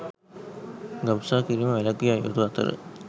ගබ්සා කිරීම වැළැක්විය යුතු අතර